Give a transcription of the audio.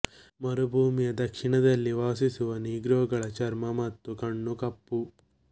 ಮರುಭೂಮಿಯ ದಕ್ಷಿಣದಲ್ಲಿ ವಾಸಿಸುವ ನೀಗ್ರೊಗಳ ಚರ್ಮ ಮತ್ತು ಕಣ್ಣು ಕಪ್ಪು